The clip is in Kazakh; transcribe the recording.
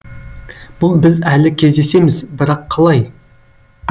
біз әлі кездесеміз бірақ қалай